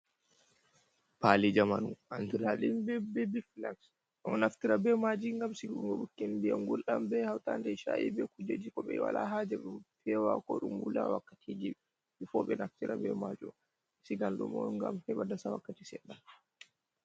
Paali jamanu andiraɗum be be bebi fulaks ɗum ɗo naftira be maji ngam Sigunga ɓukkon ndiyam ngulɗam be hautande e cha'i be kujeji ko ɓe wala haja fewa ko ɗum wula wakkati ji bifo ɓe naftira be majum, Siiganɗum'on ngam heɓa dasa wakkati Sedɗa.